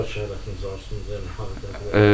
Bundan sonrakı həyatınız hansıdır, yəni haradadır?